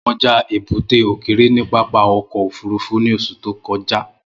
Mo wa kọja ebute okeere ni pápá ọkọ ofurufu ni oṣu to kọja.